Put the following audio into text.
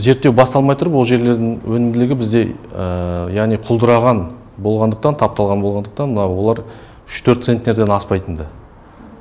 зерттеу басталмай тұрып ол жерлердің өнімділігі бізде яғни құлдыраған болғандықтан тапталған болғандықтан мынау олар үш төрт центнерден аспайтынды